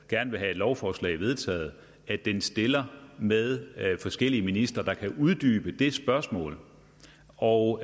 gerne vil have et lovforslag vedtaget stiller med forskellige ministre der kan uddybe det spørgsmål og